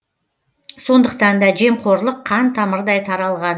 сондықтан да жемқорлық қан тамырдай таралған